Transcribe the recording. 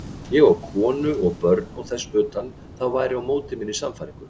Ég á konu og börn og þess utan, það væri á móti minni sannfæringu.